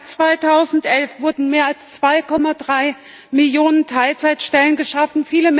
Seit 2011 wurden mehr als 2,3 Millionen Teilzeitstellen geschaffen.